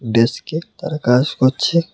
ডেস্কে তারা কাজ করছে।